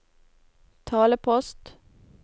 talepost